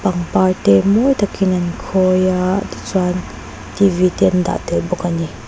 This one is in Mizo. pangpar te mawi tak in an khawi a ti chuan te an dah tel bawk a ni.